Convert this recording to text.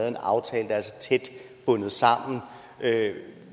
en aftale der er så tæt bundet sammen med